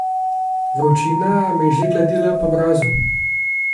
Vročina me je že gladila po obrazu.